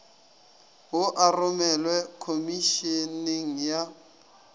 wo a romelwe khomišeneng ya